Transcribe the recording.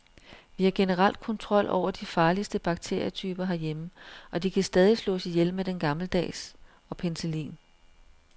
Vi har generelt kontrol over de farligste bakterietyper herhjemme, og de kan stadig slås ihjel med den gammeldags og penicillin.